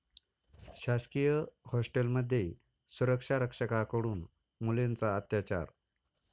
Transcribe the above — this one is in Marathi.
शासकीय हॉस्टेलमध्ये सुरक्षारक्षकाकडून मुलींचा अत्याचार